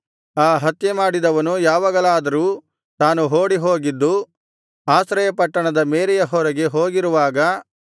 ಆ ಹತ್ಯೆಮಾಡಿದವನು ಯಾವಾಗಲಾದರೂ ತಾನು ಓಡಿಹೋಗಿದ್ದು ಆಶ್ರಯಪಟ್ಟಣದ ಮೇರೆಯ ಹೊರಗೆ ಹೋಗಿರುವಾಗ